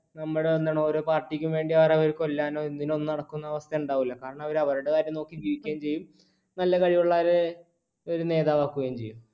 നമ്മൾ തന്നെയാണ് ഓരോ party ക്ക് വേണ്ടി അവരെ കൊല്ലാനും ഇതിനൊന്നും നടക്കുന്ന അവസ്ഥ ഉണ്ടാകില്ല, കാരണം അവരവരുടെ കാര്യം നോക്കി ജീവിക്കുകയും ചെയ്യും നല്ല കഴിവുള്ളവരെ അവർ നേതാവ് ആക്കുകയും ചെയ്യും.